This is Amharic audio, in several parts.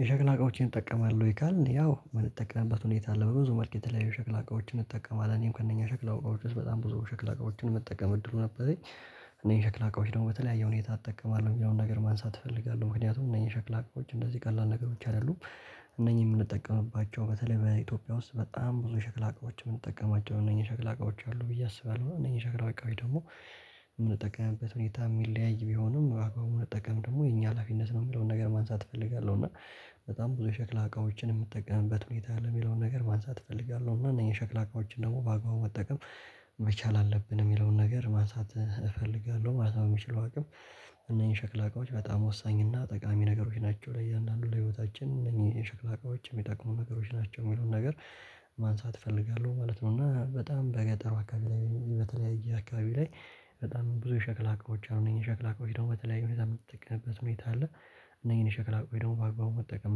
የሸክላ እቃዎችን እጠቀማለሁ ወይ ካልን ያው የምንጠቀምበት ሁኔታ አለ በብዙ ማርኬት ላይ ሸክላ እቃዎችን እጠቀማለሁ እኔም ከእነኛ ሸክላ እቃዎች ውስጥ በጣም ብዙ ሸክላ እቃዎችን መጠቀም እድል ነበረኝ። እነዚህን ሸክላ እቃዎች ደግሞ በተለያየ ሁኔታ እጠቀማለሁ የሚለውን ነገር ማንሳት እፈልጋለሁ ምክንያቱም እነኚህ ሸክላ አቅሞች እንደዚህ ቀላል ነገሮች አይደሉም። እነኚህ የምንጠቀምባቸው በተለይ በኢትዮጵያ ውስጥ በጣም ብዙ ሽክል አቅሞች የምንጠቀማቸው እነኚህ ሸክላ እቃዎች አሉ ብዬ አስባለሁ። እነኚህ ሸክላ እቃዎች ደግሞ የምንጠቀምበት ሁኔታ የሚለያይ ቢሆንም አግባቡን ለጠቀም ደግሞ የኛ ሀላፊነት ነው የሚለውን ነገር ማንሳት እፈልጋለሁ። እና በጣም ብዙ የሸክላ እቃዎችን የምጠቀምበት ሁኔታ ለሚለው ነገር ማንሳት እፈልጋለሁ እና እኛ ሸክላ እቃዎችን ደግሞ በአግባቡ መጠቀም መቻል አለብን የሚለውን ነገር ማንሳት እፈልጋለሁ። ማንሳት የሚችለው አቅም። እነኚህ ሸክላ እቃዎች በጣም ወሳኝ እና ጠቃሚ ነገሮች ናቸው። ለእያንዳንዱ ለህይወታችን እነዚህ የሸክላ እቃዎችም የሚጠቅሙ ነገሮች ናቸው የሚሉትን ነገር ማንሳት እፈልጋለሁ ማለት ነው። እና በጣም በገጠሩ አካባቢ ላይ በተለያየ አካባቢ ላይ በጣም ብዙ ሸክላ አካባቢ አሉ ሸክላ አካባቢ ደግሞ በተለያዩ በተጠቀመበት ሁኔታ አለ። እነኚህን ሸክላ ቆይቶ ደግሞ በአግባቡ መጠቀም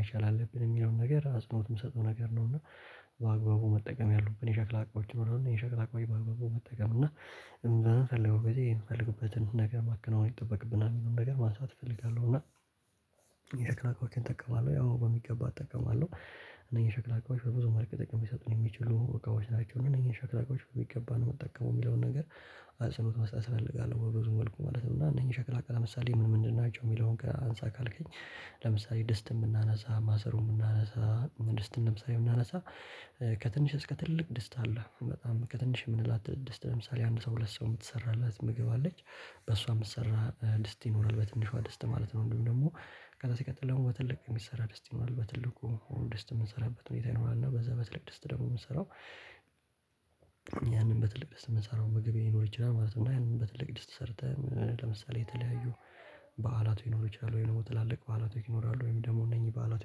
መቻል አለብን የሚለውን ነገር አጽንኦት የምሰጠው ነገር ነው። እና በአግባቡ መጠቀም ያሉብን የሸክላ አቃዎች ነው እና የሸክላ አቋሞች በአግባቡ መጠቀም እና እንደዛ እንደምንፈልገው በቃ የምንፈልግበትን ነገር ማከናወን ይጠበቅብናል ነገር ማንሳት እፈልጋለሁ። እና የተከራከርክን እጠቀማለሁ ያው በሚገባ እጠቀማለሁ። እነኚህን ሸክላ አጋማችን በብዙ መልክ ጥቅም ቢሰጡን የሚችሉ እቃዎች ናቸው። እነዚህን ሸክላቆች በሚገባ ነው የምጠቀመው የሚለውን ነገር አጽንኦት መስጠት እፈልጋለሁ። በብዙ መልኩ ማለት ነው እና እነኚህ ሸክላ እቃ ለምሳሌ ምን ምን እንድናጨው የሚለውን ጋር አንሳ ካልከኝ። ለምሳሌ ደስት የምናነሳ ማሰሩ የምናነሳ ደስት ለምሳሌ የምናነሳ ከትንሽ እስከ ትልቅ ደስት አለህ በጣም ከትንሽ የምንላት ትድስት ለምሳሌ አንድ ሰው ሁለት ሰው የምትሰራላት ምግብ አለች። በሷ የምትሰራ ድስት ይኖራል በትንሿ ድስት ማለት ነው። ወይም ደግሞ ከዛ ሲቀጥል ደግሞ በትልቅ የሚሰራ ደስቲ ነው በትልቁ ደስት የምንሰራበት ሁኔታ ይኖራል። እና በዛ በትልቅ ደስታ ደግሞ የምንሰራው ያንን በትልቅ ደስታ የምንሰራው ምግብ ይኖር ይችላል ማለት ነው። እና ይሄንን በትልቅ ድስት ሰርተህ ለምሳሌ የተለያዩ በዓላቱ ይኖሩ ይችላሉ። ወይ ደግሞ ትላልቅ በዓላቱ ይኖራሉ ወይም ደግሞ እነኚህ በዓላቱ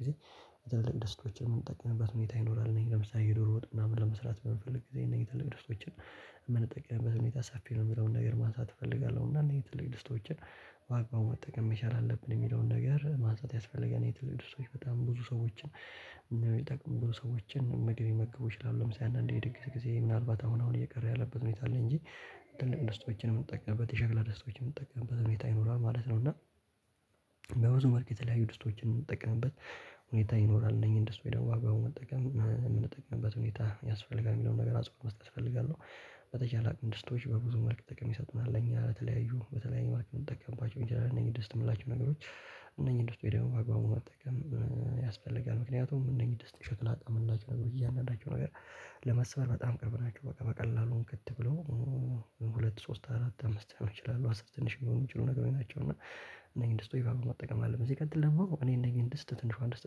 ጊዜ በጥልቅ ደስታዎች የምንጠጥንበት ሁኔታ ይኖራል። እነኚህ ለምሳሌ የዶሮ ወጥና ምን ለመስራት በምንፈልግ ጊዜ እነዚህ ትልቅ ድርሻችን የምንጠቀምበት ሁኔታ ሰፌ ነው የምለውን ነገር ማንሳት እፈልጋለሁ። እና እንዴት ትል ድስቶችን በአግባቡ መጠቀም መቻል አለብን የሚለውን ነገር ማጠብ ያስፈልገናል። የትልቅ ድርሻዎች በጣም ብዙ ሰዎችን እና የጠቅምኩት ሰዎችን መመገብ ይችላሉ ለምሳሌ አንዳንዴ የድግስ ጊዜ ምናልባት አሁን አሁን እየቀረ ያለበት ሁኔታ አለ። እንጂ ትልቅ ድስትዎች የምንጠቀምበት የሸክላ ድስቶችን የምንጠቀምበት ሁኔታ ይኖራል ማለት ነው። እና በብዙ መልኩ የተለያዩ ድስቶችን የምንጠቀምበት ሁኔታ ይኖራል እነኚህን ደስት በመጠቀም የምንጠቅምበት ሁኔታ ያስፈልጋል የሚለውን ነገር አጽንኦት መስጠት እፈልጋለሁ። በተቻለ አቅም ድስቶች በብዙ መልክ ጥቅም ይሰጠናል ምናምን ለኛ አለ። በተለያዩ በተለያዩ ማሽን የምጠቀምባቸው እንጂ ደስት የምላቸው ነገሮች። እነኚህ ደስት ውስጥ ወይ ደግሞ አግባቡ መጠቀም ያስፈልጋል። ምክንያቱም እነኚህ ውስጥ ሸክላ ጥቅም ነገሮች እያንዳንዳችሁ ነገር ለመስበር በጣም ቀርብናችሁ በቃ በቀላሉን ግድ ብለው ሁለት ሶስት አራት አምስት አመት እችላለሁ አስር ትንሽ የሚሆኑ የሚችሉ ነገሮች ናቸው። እና እነዚህን ድስት በኣግባቡ መጠቀም አለበት ሲቀጥል ደሞ ትጠቀም እኔ እነዚህን ድስት ትንሿ እንድስት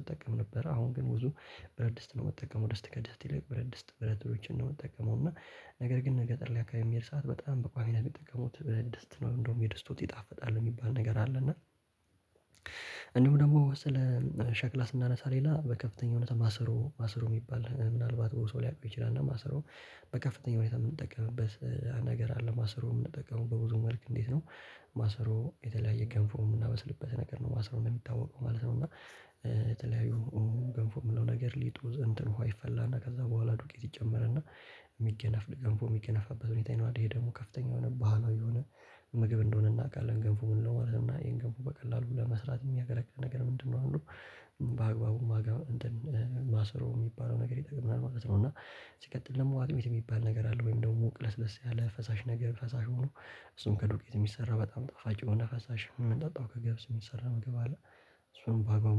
ትጠቀም ነበር አሁን ግን ብዙ በደስታ ነው የምትጠቀመው ደስታ ከድስታ ይልቅ በደስታ ብረት ድስት ነው የምጠቀመው። እና ነገር ግን በገጠር ላይ ኣከባቢ የሚካሄድ ሰዓት በጣም በቋሚና የሚጠቀሙት ብለህ ደስት ነው እንደውም የድስቶት ይጣፍጣል የሚባል ነገር አለ። እና እንደሁም ደግሞ ስለ ሸክላ ስናነሳ ሌላ በከፍተኛ እውነት ማስሮ ማስሮ የሚባል ምናልባት ብዙ ሰው ሊያውቀው ይችላል። እና ማስሮ በከፍተኛ ሁኔታ የምንጠቀምበት ነገር አለ። ማሰሮ የምንጠቀመው በብዙ መልክ እንዴት ነው? ማሰሮ የተለያየ ገንፎ የምናበስልበት ነገር ነው ማሰሮ ነው የሚታወቀው ማለት ነው። እና የተለያዩ ገንፎ የምንለው ነገር ሊጡ እንትን ውሃ ይፈላና ከዛ በኋላ ዱቄት ይጨመርና የሚገነፍ ጎንፎ የሚገነፍበት ሁኔታ ይኗል። ደግሞ ከፍተኛ የሆነ ባህላዊ የሆነ ምግብ እንደሆነ እናውቃለን። ገንፎ ምንድነው? ማለት እና ይሄን ገንፎ በቀላሉ ለመስራት የሚያገለግል ነገር ምንድነው አሉ? በአግባቡ ማሰሮ የሚባለው ነገር ይጠቅምናል ማለት ነው። እና ሲቀጥል ደግሞ አጥሚት የሚባል ነገር አለ። ወይም ደግሞ ቅለስለስ ያለ ፈሳሽ ነገር ፈሳሽ ሆኖ እሱም ከዱቄት የሚሰራ በጣም ጠፋጭ የሆነ ፈሳሽ የምንጠጣው ከገብስ የሚሰራ ምግብ አለ። እሱን በአግባቡ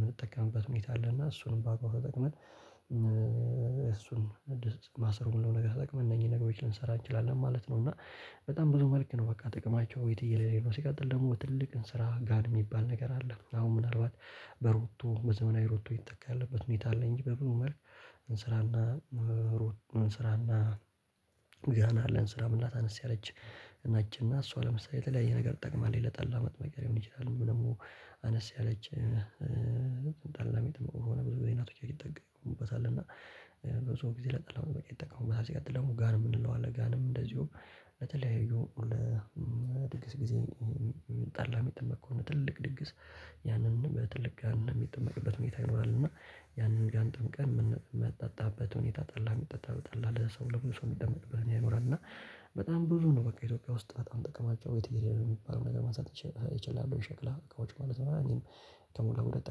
ምንጠቀምበት ሁኔታ አለና እሱንም በኣግባቡ ተጠቅመን እሱን አዲስ ማሰሮ ምንለው ነገር ተጠቅመን እነኚህ ነገሮች ልንሰራ እንችላለን ማለት ነው። እና በጣም ብዙ መልክ ነው በቃ ጥቅማቸው ወይት እየሌለ ነው። ሲቀጥል ደግሞ ትልቅ እንስራ ጋን የሚባል አሁን ምናልባት በሮቶ በዘመናዊ ሮቶ የተተካ ያለበት ሁኔታ አለ። እንጂ በብዙ መልክ እንስራና እንስራና ጋን አለን ስራ ምናምን አነስ ያለች እና ነጭና እሷ ለምሳሌ ለተለያየ ነገር ትጠቅማለች ለጠላ መጥመቂያ ሊሆን ይችላል። ወይ ደግሞ አነስ ያለች ጠላ የሚጠመቅ ብዙ ጊዜያቶች እንጠቀምበታለን። እና በሰው ጊዜ ለጠላው በቃ ይጠቀሙበታል። ሲቀጥል ደግሞ ጋን የምንለው አለ ጋንም እንደዚሁም ለተለያዩ ለድግስ ጊዜ ጠላ የሚጠመቅ ከሆነ ትልቅ ድግስ ያንን በትልቅ ጋር የሚጠመቅበት ሁኔታ ይኖራል። እና ያንን ጋን ጠምቀን የምንጠጣበት ሁኔታ ጠላ የሚጠጣበት ጠላ ለሰው ለብዙ ሰው የሚደመጥበት ያውራል። እና በጣም ብዙ ነው በቃ ኢትዮጵያ ውስጥ በጣም ጥቅማቸው የተደረገ የሚባለውን ነገር ማንሳት እችላለሁ። ሸክላ ከውጭ ማለት ነው እኔም ከምለው ሁለት